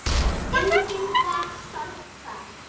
Enginn gat sagt það.